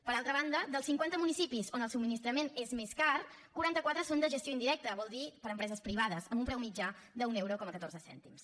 per altra banda dels cinquanta municipis on el subministrament és més car quaranta quatre són de gestió indirecta vol dir per empreses privades amb un preu mitjà d’un euro amb catorze cèntims